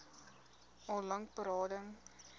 al lank berading